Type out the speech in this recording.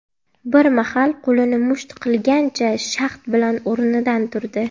Bir mahal qo‘lini musht qilgancha, shahd bilan o‘rnidan turdi.